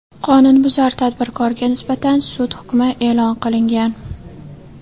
Qonunbuzar tadbirkorga nisbatan sud hukmi e’lon qilingan.